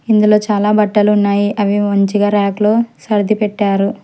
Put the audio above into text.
ఇందులో చాలా బట్టలు ఉన్నాయి అవి మంచిగా రాక్ లో సర్ది పెట్టారు.